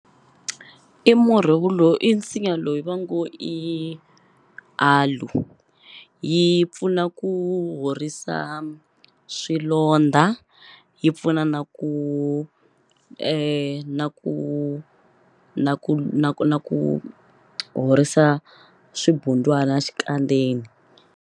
I murhi i nsinya loyi va ngo i aloe yi pfuna ku horisa swilondza yi pfuna na ku na ku na ku na ku na ku na ku horisa swibundwana xikandzeni.